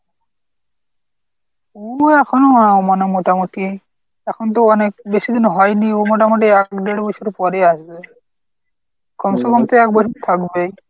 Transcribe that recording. ও এখনও আহ মানে মোটামুটি এখন তো অনেক বেশি দিন হয়নি ও মোটামুটি এক দেড় বছর পরেই আসবে। কমছে কম তো এক বছর থাকবেই।